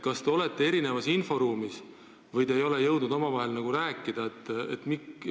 Kas te olete erinevas inforuumis või te ei ole jõudnud omavahel rääkida?